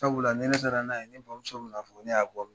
Sabula ni ne tara n'a ye, ne bamuso bɛ n'a fɔ, ne y'a bɔ min ?